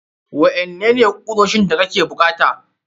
Waƴanannan ne kuoshin da kake bukata?